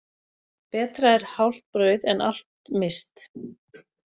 Betra er hálft brauð en allt misst.